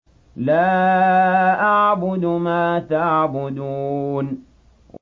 لَا أَعْبُدُ مَا تَعْبُدُونَ